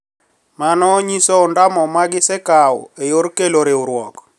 Mano nyiso ondamo ma gisekawo e yor kelo riwruok